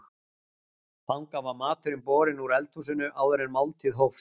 Þangað var maturinn borinn úr eldhúsinu áður en máltíð hófst.